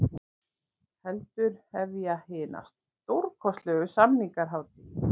Heldur hefja hina stórkostlegu sameiningarhátíð.